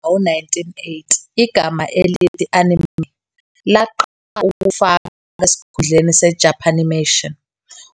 Maphakathi nawo-1980, igama elithi "anime" laqala ukufaka esikhundleni "seJapanimation",